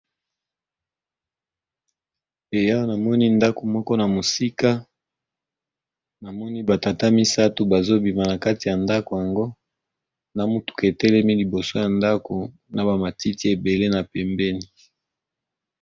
Awa namoni ndako moko na mosika namoni batata misato bazobima na kati ya ndako yango na mutuka etelemi liboso ya ndako na bamatiti ebele na pembeni.